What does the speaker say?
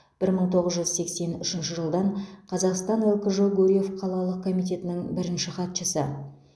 бір мың тоғыз жүз сексен үшінші жылдан қазақстан лкжо гурьев қалалық комитетінің бірінші хатшысы